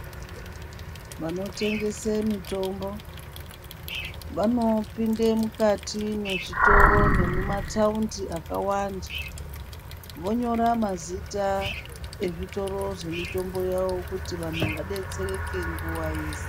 Vanotengese mutombo vanopinde mukati mezvitoro nemumataundi akawanda, vonyora mazita ezvitoro zvemitombo yawo kuti vantu vadetsereke nguwa yeshe.